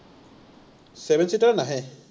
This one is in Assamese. seven seater নাহে।